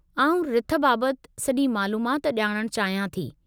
आउं रिथ बाबत सॼी मालूमात ॼाणणु चाहियां थी।